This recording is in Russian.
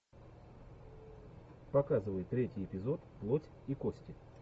показывай третий эпизод плоть и кости